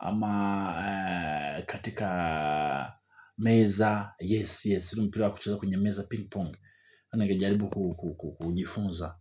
ama katika meza, yes, yes, mpira wa kucheza kwenye meza ping-pong ningejaribu kujifunza.